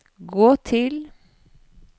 gå til